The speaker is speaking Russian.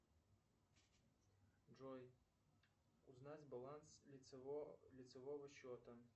джой узнать баланс лицевого счета